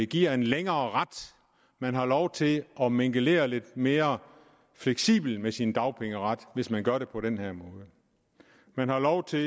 giver en længerevarende ret man har lov til at mingelere lidt mere fleksibelt med sin dagpengeret hvis man gør det på den her måde man har lov til